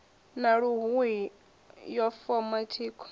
wa luhuhi yo foma thikho